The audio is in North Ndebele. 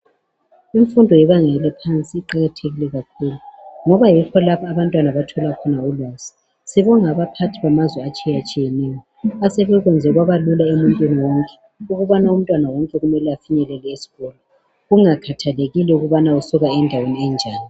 Imfundo yebanga eliphansi iqakathekile kakhulu ngoba yikho lapho abantwana abathola khona ulwazi sibonga abaphathi bamazwe atshiyatshiyeneyo asebe kwenzelwa kwaba Lula emuntwini wonke ukubana umntwana wonke afinyelele esikolo kungakhathalekile ukubana usuka endaweni enjani